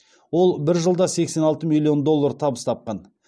ол бір жылда сексен алты миллион доллар табыс тапқан